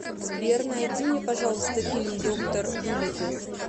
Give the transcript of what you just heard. сбер найди мне пожалуйста фильм доктор дулиттл